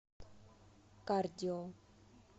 кардио